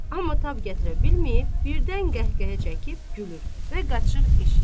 Amma tab gətirə bilməyib birdən qəhqəhə çəkib gülür və qaçır eşiyə.